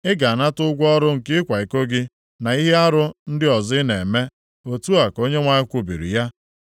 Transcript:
Ị ga-anata ụgwọ ọrụ nke ịkwa iko gị, na ihe arụ ndị ọzọ ị na-eme. Otu a ka Onyenwe anyị kwubiri ya.